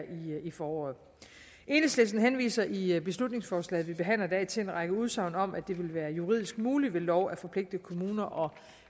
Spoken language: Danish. i foråret enhedslisten henviser i beslutningsforslaget som vi behandler i dag til en række udsagn om at det ville være juridisk muligt ved lov at forpligte kommuner og